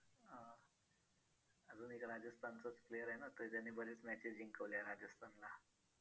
अजून एक राजस्थानचाच player आहे ना तो त्याने बरेच matches जिंकवल्या राजस्थानला